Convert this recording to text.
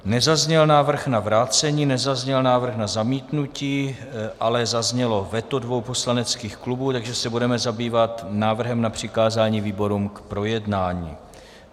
Nezazněl návrh na vrácení, nezazněl návrh na zamítnutí, ale zaznělo veto dvou poslaneckých klubů, takže se budeme zabývat návrhem na přikázání výborům k projednání.